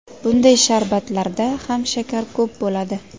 Bunday sharbatlarda ham shakar ko‘p bo‘ladi.